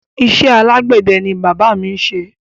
Isé alágbède ni bàbá mi n ṣe